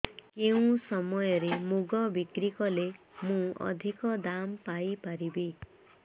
କେଉଁ ସମୟରେ ମୁଗ ବିକ୍ରି କଲେ ମୁଁ ଅଧିକ ଦାମ୍ ପାଇ ପାରିବି